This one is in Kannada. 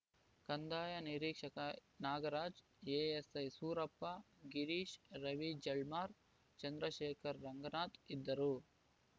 ಕಂದಾಯ ನಿರೀಕ್ಷಕ ನಾಗರಾಜ್‌ ಎಎಸ್‌ಐ ಸೂರಪ್ಪ ಗಿರೀಶ್‌ ರವಿ ಜಾಳ್ಮಾರ್‌ ಚಂದ್ರಶೇಖರ್‌ ರಂಗನಾಥ್‌ ಇದ್ದರು